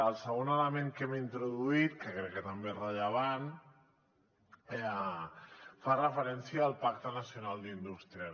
el segon element que hem introduït que crec que també és rellevant fa referència al pacte nacional per a la indústria